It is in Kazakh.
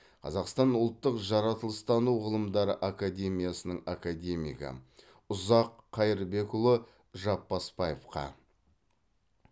қазақстан ұлттық жаратылыстану ғылымдары академиясының академигі ұзақ қайырбекұлы жапбасбаевқа